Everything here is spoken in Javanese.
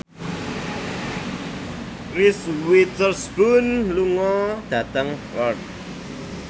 Reese Witherspoon lunga dhateng Perth